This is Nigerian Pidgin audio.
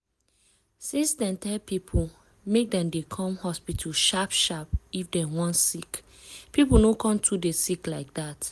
since dem tell people make dem dey come hospital sharp sharp if dem wan sick people no con too dey sick like that o.